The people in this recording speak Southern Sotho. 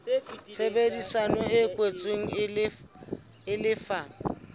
tshebedisano e kwetsweng e lefa